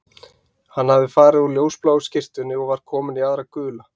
Hann hafði farið úr ljósbláu skyrtunni og var kominn í aðra gula